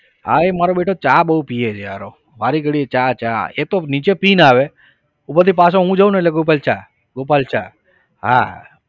હા એ મારો બેટો ચા બહુ પીવે છે વારે ઘડીએ ચા ચા એ તો નીચે પીને આવે ઉપરથી પાછો હું જાવને એટલે ગોપાલ ચા ગોપાલ ચા હા